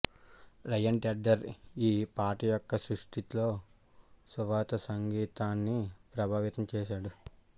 rayon Tedder ఈ పాట యొక్క సృష్టిలో సువార్త సంగీతాన్ని ప్రభావితం చేశాడు